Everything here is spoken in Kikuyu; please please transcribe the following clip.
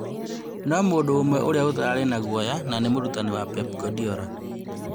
No mũndũ ũmwe ũrĩa ũtararĩ na guoya nanĩ mũrutani wa Pep Guardiola